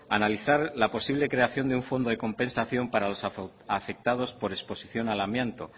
analizar la posible creación de un fondo de compensación para los afectados por exposición al amianto